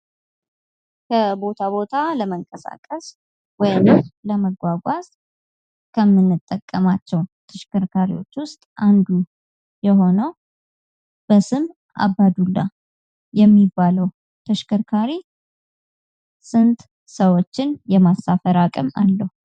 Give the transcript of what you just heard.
ከቦታ ቦታ ለመንቀሳቀስ ወይንም ለማጓጓዝ ከምንጠቀማቸው ተሽከርካሪዎች ውስጥ አንዱ የሆነው በስም አባዱላ የሚባለው ተሽከርካሪ ስንት ሰዎችን የማሳፈር አቅም አለው?